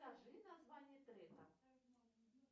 скажи название трека